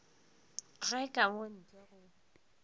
ge ka mo ntle go